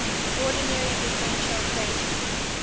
ordinary differential equation